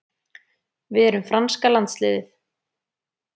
Við erum franska landsliðið.